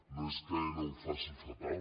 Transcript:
no és que aena ho faci fatal